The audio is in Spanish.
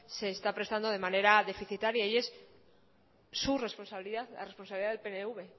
se está prestando de manera deficitaria y es su responsabilidad la responsabilidad del pnv